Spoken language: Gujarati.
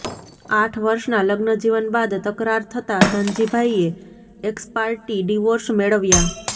આઠ વર્ષના લગ્નજીવન બાદ તકરાર થતાં ધનજીભાઈએ એક્સપાર્ટી ડિવોર્સ મેળવ્યા